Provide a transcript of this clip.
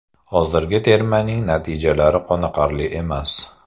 Hozirgi termaning natijalari qoniqarli emas.